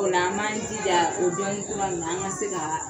Ola a man jija o dɔɔni kura nina an ka se ka